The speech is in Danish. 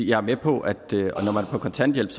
jeg er med på at når man er på kontanthjælp